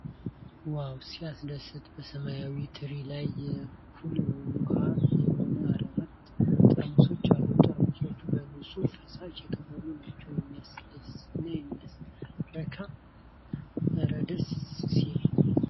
ዋው ሲያስደስት ! በሰማያዊ ትሪ ላይ የ"ኩል" ውሃ የሆኑ አራት ጠርሙሶች አሉ ። ጠርሙሶቹ በንጹህ ፈሳሽ የተሞሉ ናቸው ። የሚያድስና የሚያረካ እረ ደስ ሲል!